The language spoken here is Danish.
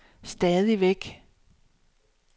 stadigvæk